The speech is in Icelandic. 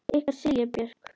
Ykkar Silja Björk.